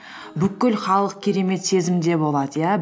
бүкіл халық керемет сезімде болады иә